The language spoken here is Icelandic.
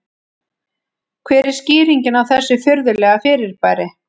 Hver er skýringin á þessu furðulega fyrirbæri?